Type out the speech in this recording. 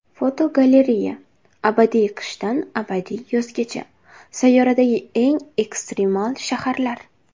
Fotogalereya: Abadiy qishdan abadiy yozgacha — sayyoradagi eng ekstremal shaharlar.